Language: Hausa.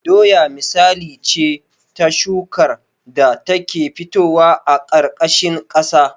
Doya misali ce ta shukar da ta ke fitowa a ƙarƙashin ƙasa